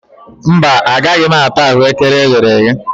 Mba, agaghị m ata ahụekere eghere eghe